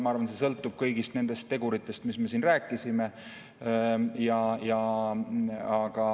Ma arvan, et see sõltub kõigist nendest teguritest, millest me siin rääkisime.